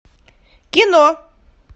кино